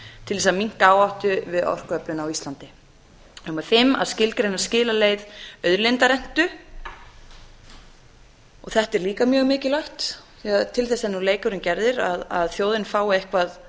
til þess að minnka áhættu við orkuöflun á íslandi fimmta að skilgreina skilaleið auðlindarentu og þetta er líka mjög mikilvægt því að til þess er nú leikurinn gerður að þjóðin fái eitthvað